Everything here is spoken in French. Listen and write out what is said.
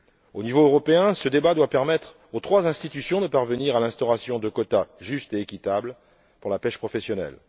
Au niveau européen, ce débat doit permettre aux trois institutions de parvenir à l'instauration de quotas justes et équitables pour la pêche professionnelle.